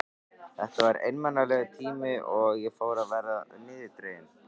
Þetta var einmanalegur tími og ég fór að verða niðurdregin.